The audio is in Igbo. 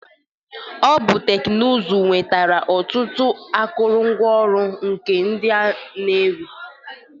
Ọ bụ teknụzụ nwetara ọtụtụ akụrụngwa ọrụ nka ndị na-ewi.